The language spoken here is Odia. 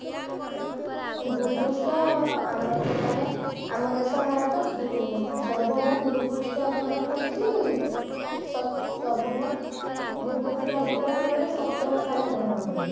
ଭୁପୃଷ୍ଠ ମାନେ ଆମ ଦେଶ ଭାରତ ଉଁ ସର୍ବମୋଟ ଭୁପୃଷ୍ଠ ଅଧିକାର କରିଛି ସ ସର୍ବମୋଟ ଭୁପୃଷ୍ଠ ଅଧିକାର କରିବାର ସପ୍ତମ ସ୍ଥାନ ଗ୍ରହଣ କରିଛି